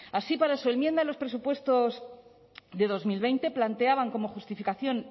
así para su enmienda en los presupuestos de dos mil veinte planteaban como justificación